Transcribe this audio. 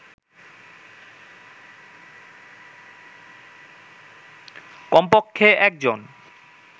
কমপক্ষে একজন